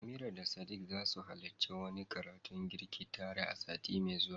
Amira da Sadiq zasu halarci wani karatun girki tare sati mai zuwa.